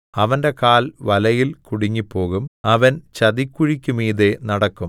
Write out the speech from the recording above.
അവന്റെ കാൽ വലയിൽ കുടുങ്ങിപ്പോകും അവൻ ചതിക്കുഴിക്കുമീതെ നടക്കും